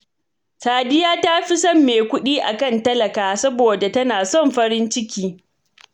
Sadiya ta fi son mai kuɗi a kan talaka, saboda tana son farin ciki